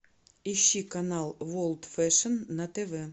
ищи канал ворлд фэшн на тв